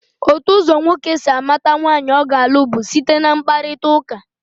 Otu ụzọ nwoke si amata nwaanyị ọ ga-alụ bụ site na mkparịtaụka.